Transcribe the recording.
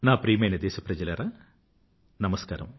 నా ప్రియమైన దేశప్రజలారా నమస్కారం